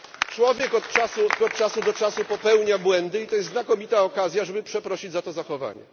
Człowiek od czasu do czasu popełnia błędy i to jest znakomita okazja, żeby przeprosić za to zachowanie.